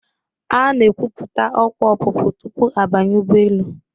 A na-ekwupụta ọkwa ọpụpụ tupu a banye ụgbọelu.